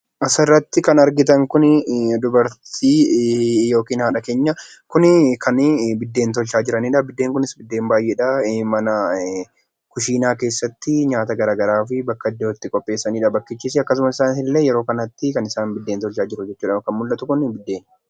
Asirratti kan argitan kunii dubartii yookiin haadha keenya. Kun kan biddeen tolchaa jiraniidha. Biddeen kunis biddeen baay'ee dha. Mana kushiinaa keessatti nyaata garaagaraa fi bakka ittoo itti qopheessanii dha. Akkasumas isaanis illee yeroo kanatti kan isaan biddeen tolchaa jiru jechuudha. Kan mul'atu kuni biddeeni.